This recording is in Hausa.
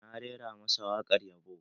Na rera masa waƙar yabo